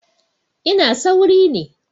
I was in a hurry